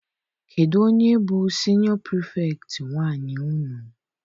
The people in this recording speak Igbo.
Kedụ onye bụ siniọ Pirifetktị nwaanyị unu?